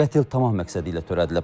Qətl tamah məqsədi ilə törədilib.